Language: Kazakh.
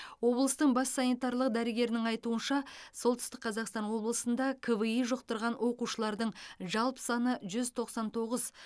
облыстың бас санитарлық дәрігерінің айтуынша солтүстік қазақстан облысында кви жұқтырған оқушылардың жалпы саны жүз тоқсан тоғыз